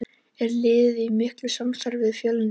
Er liðið í miklu samstarfi við Fjölni?